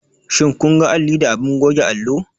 Shin kun ga alli da abin goge allo?